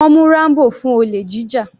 Wọ́n mú Rambo fún olè jíjà.